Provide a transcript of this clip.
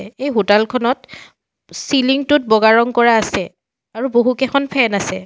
এই হোটাল খনত চিলিং টোত বগা ৰং কৰা আছে আৰু বহুতকেইখন ফেন আছে।